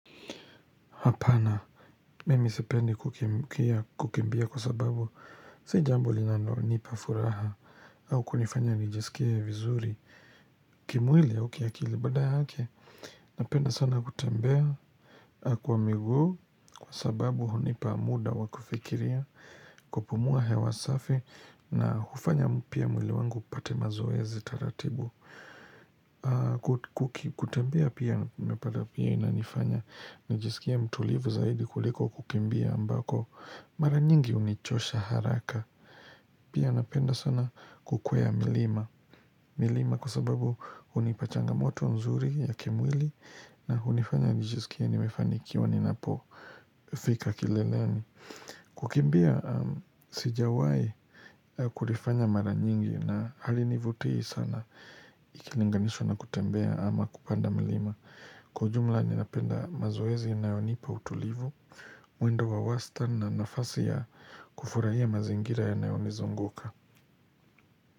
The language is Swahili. Hapana, mimi setpendi kukimbia kwa sababu si jambo linalo nipa furaha au kunifanya nijisikie vizuri kimwili au kiakili badala yake, napenda sana kutembea kwa miguu kwa sababu hunipa muda wa kufikiria kupumua hewa safi na kufanya mpya mwili wangu upate mazoezi taratibu kutembea pia unapata pia inanifanya nijisikie mtulivu zaidi kuliko kukimbia ambako Mara nyingi hunichosha haraka Pia napenda sana kukwea milima milima kwa sababu hunipa changamoto nzuri ya kimwili hunifanya nijisikie nimefanikiwa ninapo fika kileleni kukimbia sijawahi kufanya mara mingi halinivutii sana ikilinganishwa na kutembea ama kupanda mlima kwa jumla ninapenda mazoezi yanayonipa utulivu mwendo wa wastani na nafasi ya kufurahia mazingira yanayo nizunguka.